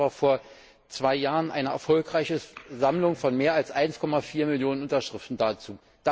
Dort gab es aber vor zwei Jahren eine erfolgreiche Sammlung von mehr als 1,4 Millionen Unterschriften dazu.